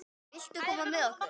Viltu koma með okkur?